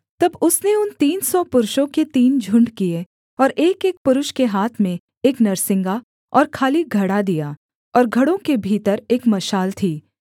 तब उसने उन तीन सौ पुरुषों के तीन झुण्ड किए और एकएक पुरुष के हाथ में एक नरसिंगा और खाली घड़ा दिया और घड़ों के भीतर एक मशाल थी